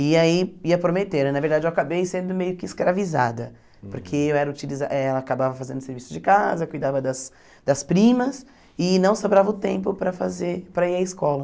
E aí ia prometer, na verdade eu acabei sendo meio que escravizada, porque eu era utiliza eh ela acabava fazendo serviço de casa, cuidava das das primas e não sobrava o tempo para fazer para ir à escola.